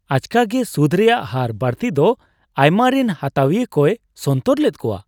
ᱟᱪᱠᱟᱜᱮ ᱥᱩᱫᱷ ᱨᱮᱭᱟᱜ ᱦᱟᱨ ᱵᱟᱹᱲᱛᱤ ᱫᱚ ᱟᱭᱢᱟ ᱨᱤᱱ ᱦᱟᱛᱟᱣᱤᱭᱟᱹ ᱠᱚᱭ ᱥᱚᱱᱛᱚᱨ ᱞᱮᱫ ᱠᱚᱣᱟ ᱾